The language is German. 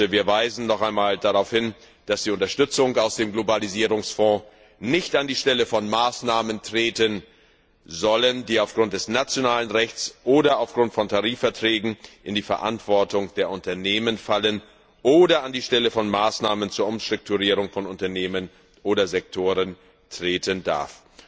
Wir weisen nochmals darauf hin, dass die Unterstützung aus dem Globalisierungsfonds nicht an die Stelle von Maßnahmen treten soll, die aufgrund des nationalen Rechts oder aufgrund von Tarifverträgen in die Verantwortung der Unternehmen fallen, oder an die Stelle von Maßnahmen zur Umstrukturierung von Unternehmen oder Sektoren treten darf.